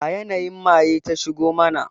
A yanayin maye ta shigo mana